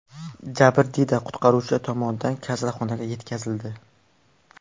Jabrdiyda qutqaruvchilar tomonidan kasalxonaga yetkazildi.